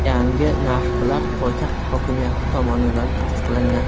Yangi narxlar poytaxt hokimiyati tomonidan tasdiqlangan.